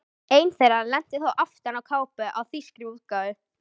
Ein þeirra lenti þó aftan á kápu á þýskri útgáfu.